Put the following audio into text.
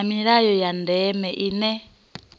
na milayo ya ndeme ine